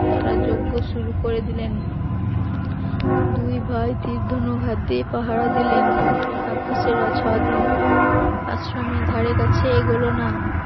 তারা যজ্ঞ শুরু করে দিলেন দুই ভাই তীর ধনুক হাতে পাহারা দিলেন, রাক্ষসীরা ছদিন আশ্রমের ধারে কাছে এগোলো না